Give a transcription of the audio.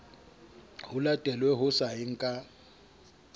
ho latelwe ho sayeng ka